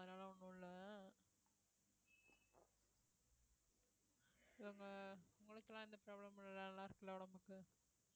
அதனால ஒண்ணும் இல்ல உங்களுக்குலாம் எந்த problem மும் இல்லைல சில உடம்புக்கு